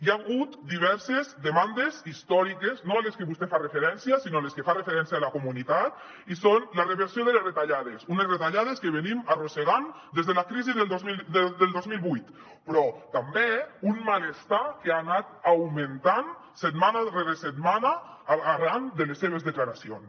hi ha hagut diverses demandes històriques no a les que vostè fa referència sinó a les que fa referència la comunitat i són la reversió de les retallades unes retallades que arrosseguem des de la crisi del dos mil vuit però també un malestar que ha anat augmentant setmana rere setmana arran de les seves declaracions